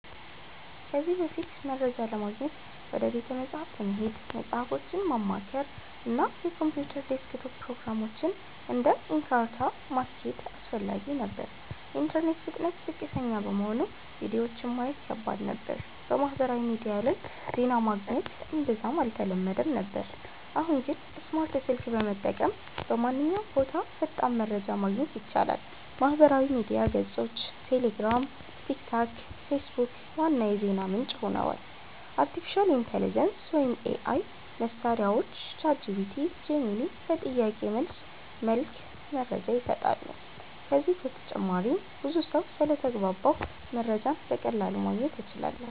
ከዚህ በፊት፦ መረጃ ለማግኘት ወደ ቤተ መጻሕፍት መሄድ፣ መጽሃፎችን ማማከር፣ እና የኮምፒውተር ዴስክቶፕ ፕሮግራሞችን (እንደ Encarta) ማስኬድ አስፈላጊ ነበር። የኢንተርኔት ፍጥነት ዝቅተኛ በመሆኑ ቪዲዮዎችን ማየት ከባድ ነበር። በማህበራዊ ሚዲያ ላይ ዜና ማግኘት እምብዛም አልተለመደም ነበር። አሁን ግን፦ ስማርት ስልክ በመጠቀም በማንኛውም ቦታ ፈጣን መረጃ ማግኘት ይቻላል። የማህበራዊ ሚዲያ ገጾች (ቴሌግራም፣ ቲክቶክ፣ ፌስቡክ) ዋና የዜና ምንጭ ሆነዋል። አርቲፊሻል ኢንተሊጀንስ (AI) መሳሪያዎች (ChatGPT, Gemini) በጥያቄ መልስ መልክ መረጃ ይሰጣሉ። ከዚህ በተጨማሪም ብዙ ሰው ስለተግባባሁ መረጃን በቀላሉ ማግኘት እችላለሁ